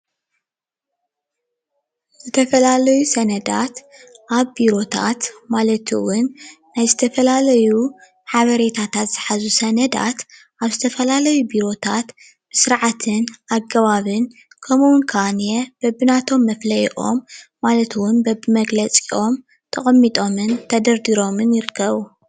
እዚ ምስሊ ኣብ ቢሮ ን ኣታውን ወፃእን ደብዳቤ ከም መወከሲ ወይ ከም ቅዳሕ ንሕዘሉ እዩ።